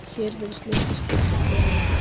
Hér virðist litlu skipta hver á í hlut.